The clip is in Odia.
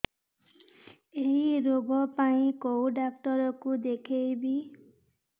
ଏଇ ରୋଗ ପାଇଁ କଉ ଡ଼ାକ୍ତର ଙ୍କୁ ଦେଖେଇବି